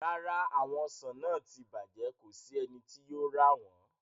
Rara, awọn ọsan naa ti bajẹ, ko si ẹni ti yóò ra wọn